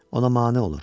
Ona mane olur.